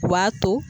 U b'a to